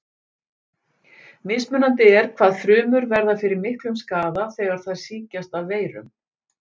Mismunandi er hvað frumur verða fyrir miklum skaða þegar þær sýkjast af veirum.